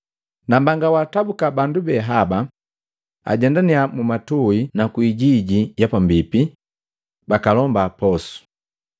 Nambanga, waatabuka bandu be haba ajendannya mwamatui nu kwiijiji ya pambipi, bakalomba posu.”